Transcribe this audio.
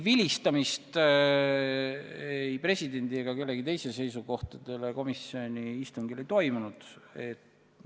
Vilistamist ei presidendi ega kellegi teise seisukohtadele komisjoni istungil ei olnud.